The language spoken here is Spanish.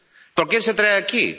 ¿Por qué se trae aquí?